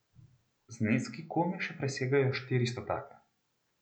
Zneski komaj še presegajo štiri stotake.